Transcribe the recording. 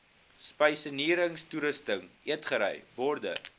spysenierstoerusting eetgery borde